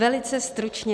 Velice stručně.